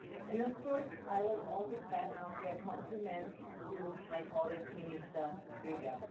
And of course I will also pass your compliments to my colleague Minister Löger.